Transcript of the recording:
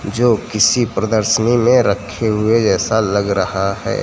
जो किसी प्रदर्शनी में रखे हुए ऐसा लग रहा हैं।